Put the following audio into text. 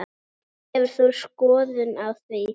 Hefur þú skoðun á því?